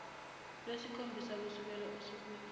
lwesikhombisa kusukela osukwini